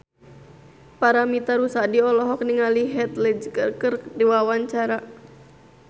Paramitha Rusady olohok ningali Heath Ledger keur diwawancara